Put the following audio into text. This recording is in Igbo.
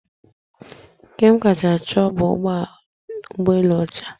Nke m kacha chọọ bụ ụgbọelu ọcha.